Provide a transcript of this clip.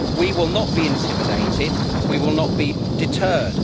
We will not be intimidated. We will not be deterred.